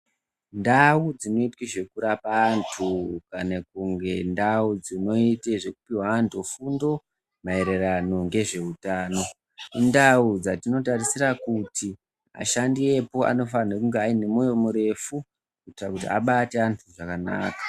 Ndau dzinoitwe zvekurapa anhu ,kana kunge ndau dzinoite zvekupuwe anhu fundo maererano ngezve utano indau dzatinotinotarisira kuti ashandi epo anofanirwe kunge ane moyo murefu kuite kuti abate anhu zvakanaka.